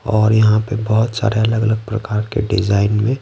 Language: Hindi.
और यहाँ पे बहुत सारे अलग-अलग प्रकार के डिजाइन में--